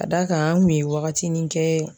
Ka d'a kan an kun ye wagatinin kɛ